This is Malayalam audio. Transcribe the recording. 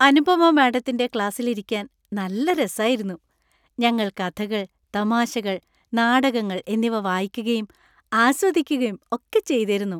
അനുപമ മാഡത്തിന്‍റെ ക്ലാസിൽ ഇരിക്കാൻ നല്ല രസായിരുന്നു. ഞങ്ങൾ കഥകൾ, തമാശകൾ, നാടകങ്ങൾ എന്നിവ വായിക്കുകയും ആസ്വദിക്കുകയും ഒക്കെ ചെയ്തേരുന്നു.